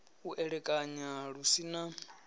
u elekanya lu si na